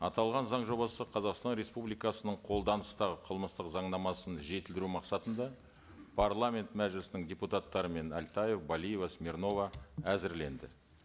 аталған заң жобасы қазақстан республикасының қолданыстағы қылмыстық заңнамасын жетілдіру мақсатында парламент мәжілісінің депутаттарымен әлтаев балиева смирнова әзірленді